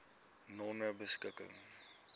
nonebeskikking